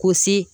K'o se